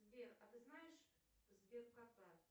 сбер а ты знаешь сберкота